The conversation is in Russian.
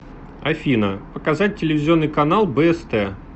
афина показать телевизионный канал бст